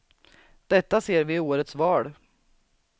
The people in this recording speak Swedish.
Detta ser vi i årets val.